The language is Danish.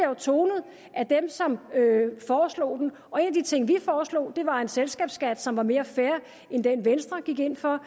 jo tonet af dem som foreslår den og en af de ting som vi foreslog var en selskabsskat som var mere fair end den venstre gik ind for